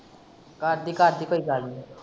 ਕਰਦੀਂ ਕਰਦੀਂ ਕੋਈ ਗੱਲ ਨੀ।